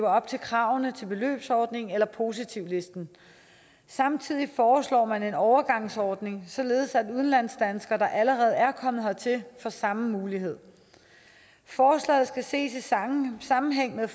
op til kravene til beløbsordningen eller positivlisten samtidig foreslår man en overgangsordning således at udlandsdanskere der allerede er kommet hertil får samme mulighed forslaget skal ses i sammenhæng med